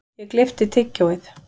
Ég gleypti tyggjóið.